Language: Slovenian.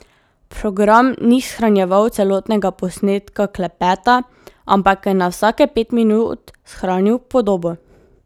Program ni shranjeval celotnega posnetka klepeta, ampak je na vsake pet minut shranil podobo.